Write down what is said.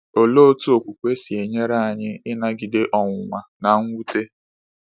Olee otú okwukwe si enyere anyị ịnagide ọnwụnwa na mwute?